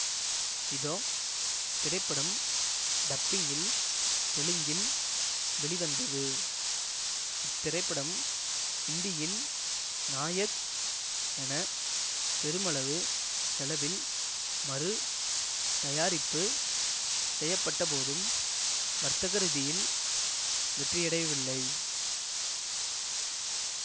இதோ திரைப்படம் டப்பிங்கில் தெலுங்கில் வெளிவந்தது இத்திரைப்படம் ஹிந்தியில் நாயக் என பெருமளவு செலவில் மறு தயாரிப்பு செய்யப்பட்டபோதும் வர்தகரீதியில் வெற்றியடையவில்லை